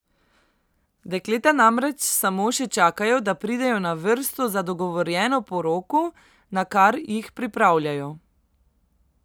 Dekleta namreč samo še čakajo da pridejo na vrsto za dogovorjeno poroko, na kar jih pripravljajo.